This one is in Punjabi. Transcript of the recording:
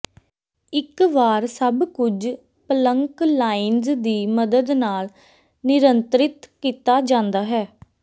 ਇਕ ਵਾਰ ਸਭ ਕੁਝ ਪਲੰਕ ਲਾਈਨਜ਼ ਦੀ ਮਦਦ ਨਾਲ ਨਿਯੰਤਰਿਤ ਕੀਤਾ ਜਾਂਦਾ ਹੈ